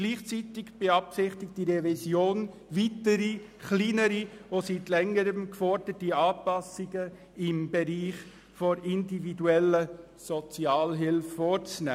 Gleichzeitig beabsichtigt diese Revision weitere kleinere Anpassungen im Bereich der individuellen Sozialhilfe, welche seit Längerem gefordert wurden.